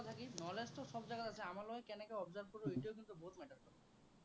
মানে কি knowledge টো সৱ জাগাত আছে। আমাৰ লগত কেনেকে observe কৰো, সেইটোৱে কিন্তু বহুত matter কৰে।